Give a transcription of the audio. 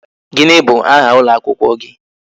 Gini bụ aha ụlọ akwụkwọ gị?